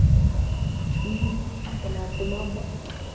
Fólk væri ekki mikið frábrugðið þeim þegar til stykkisins kæmi.